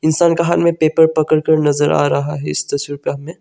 संकहन में पेपर पड़कर नजर आ रहा है इस तस्वीर पर हमने।